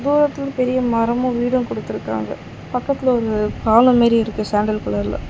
தூரத்துலந்து பெரிய மரமும் வீடும் குடுத்துருக்குறாங்க பக்கத்துல ஒரு பாலோ மெரி இருக்கு சாண்டல் கலர்ல .